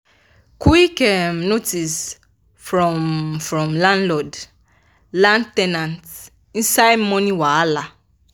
quit notice from from landlord land ten ant inside money wahala